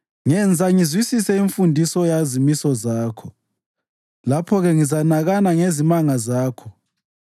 Ngenza ngizwisise imfundiso yezimiso zakho; lapho-ke ngizanakana ngezimanga zakho.